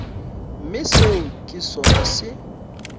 mme seo ke sona se